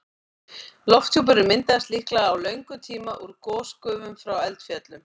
Lofthjúpurinn myndaðist líklega á löngum tíma úr gosgufum frá eldfjöllum.